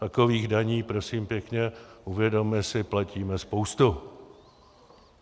Takových daní, prosím pěkně, uvědomme si, platíme spoustu.